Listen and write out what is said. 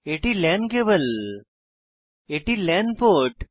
এটি LAN cable এটি LAN port